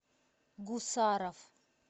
гусаров